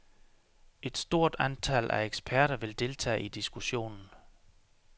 Et stort antal af eksperter vil deltage i diskussionen.